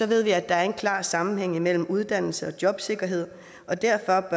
ved vi at der er en klar sammenhæng mellem uddannelse og jobsikkerhed og derfor